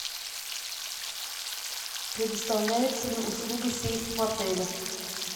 предоставляется ли услуга сейф в отеле